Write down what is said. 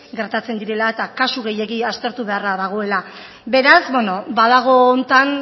gertatzen direla eta kasu gehiegi aztertu beharra dagoela beraz badago honetan